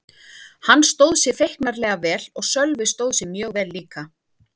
Hann stóð sig feiknarlega vel og Sölvi stóð sig mjög vel líka.